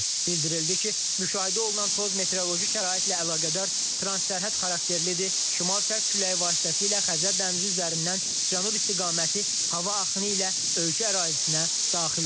Bildirildi ki, müşahidə olunan toz meteoroloji şəraitlə əlaqədar transsərhəd xarakterlidir, şimal-şərq küləyi vasitəsilə Xəzər dənizi üzərindən cənub istiqaməti hava axını ilə ölkə ərazisinə daxil olur.